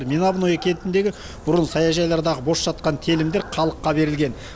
меновное кентіндегі бұрын саяжайлардағы бос жатқан телімдер халыққа берілген